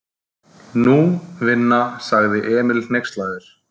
Nú, vinna, sagði Emil hneykslaður.